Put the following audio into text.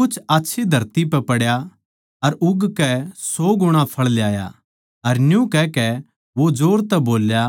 कुछ आच्छी धरती पै पड्या अर उगकै सौ गुणा फळ ल्याया न्यू कहकै वो जोर तै बोल्या